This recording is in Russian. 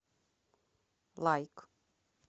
лайк